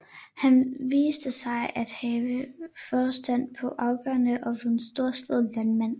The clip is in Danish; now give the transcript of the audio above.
Han viste sig at have forstand på afgrøder og blev en storslået landmand